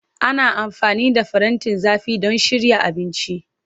Ana amfani da farantin zafi don shirya abinci.